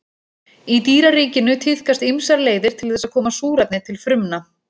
Í dýraríkinu tíðkast ýmsar leiðir til þess að koma súrefni til frumna.